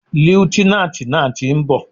Líútínántì náà ti nbò